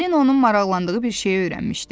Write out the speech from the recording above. Falina onun maraqlandığı bir şeyi öyrənmişdi.